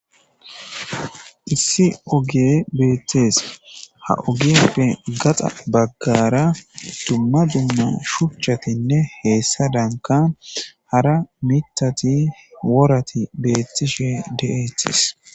Issi oge beettees ha ogefe gaxa baggara tumma dumma shuchchatinne heessa danka hara mitati worati beettishe de,etis.